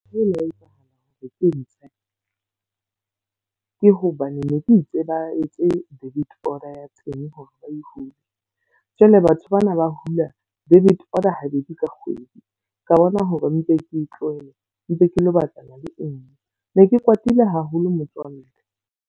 Ntho e la etsa ke ntshe ke hobane ne ke itse ba etse debit order ya teng hore e hule. Jwale batho bana ba hula debit order habedi ka kgwedi. Ka bona hore mpe ke tlohele mpe ke lo batlana le e nngwe. Ne ke kwatile haholo motswalle.